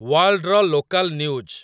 ୱାଲ୍‌ଡ୍‌ର local news